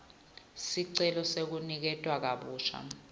sicelo sekuniketwa kabusha